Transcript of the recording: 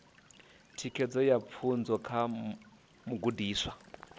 thikedzo ya pfunzo kha mugudiswa